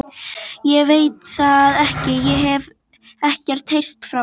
Ég veit það ekki, ég hef ekkert heyrt frá honum.